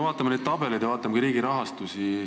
Vaatame neid tabeleid ja vaatame ka riigi rahastust.